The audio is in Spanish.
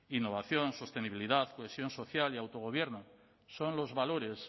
innovación sostenibilidad cohesión social y autogobierno son los valores